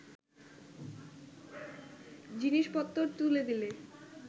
জিনিষপত্তর তুলে দিলে